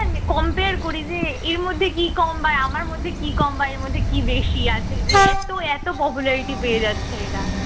compare করি যে এর মধ্যে কি কম বা আমার মধ্যে কি কম বা এর মধ্যে কি বেশি আছে যে এত এত popularity পেয়ে যাচ্ছে এরা